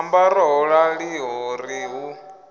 ambara ho raliho ri hu